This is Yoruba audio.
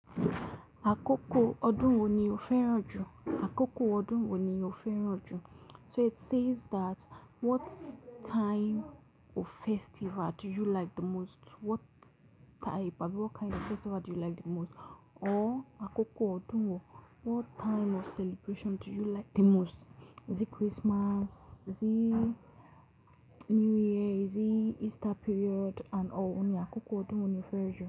Àkókò ọdún wo ni o fẹ́ràn jù? Àkókò ọdún wo ni o fẹ́ràn jù? So it says that what time of festival do you like the most? What type of, what kind of festival do you like the most? Or àkókò ọdún wo, what time of celebration do you like the most? Is it Christmas? Is it New Year? Is it Easter period? And or wo ni àkókò ọdún wo ni o fẹ́ràn jù?